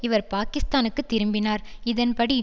இவர் பாக்கிஸ்தானுக்கு திரும்பினார் இதன்படி